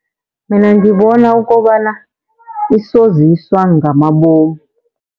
Mina ngibona ukobana isoziswa ngamabomu.